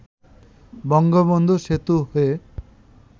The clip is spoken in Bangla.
বঙ্গবন্ধু সেতু হয়ে